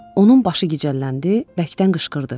Onun başı gicəlləndi, bərkdən qışqırdı.